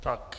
Tak.